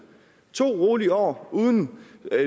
to rolige år uden